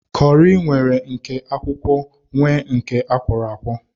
Kọri nwere nke akwụkwọ nwee nke akwọro akwọ